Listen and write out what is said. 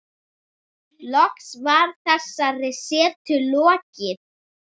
Loks var þessari setu lokið.